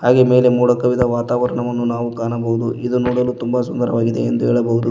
ಹಾಗೆ ಮೇಲೆ ಮೋಡ ಕವಿದ ವಾತಾವರಣವನ್ನು ನಾವು ಕಾಣಬೋದು ಇದು ನೋಡಲು ತುಂಬ ಸುಂದರವಾಗಿದೆ ಎಂದು ಹೇಳಬೋದು.